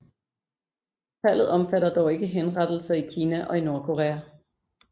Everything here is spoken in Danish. Tallet omfatter dog ikke henrettelser i Kina og i Nordkorea